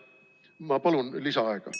Ma palun lisaaega!